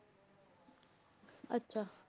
ਆਚਾ